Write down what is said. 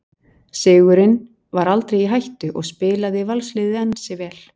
Sigurinn var aldrei í hættu og spilaði Valsliðið ansi vel.